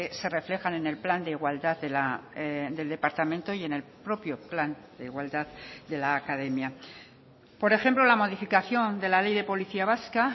se reflejan en el plan de igualdad del departamento y en el propio plan de igualdad de la academia por ejemplo la modificación de la ley de policía vasca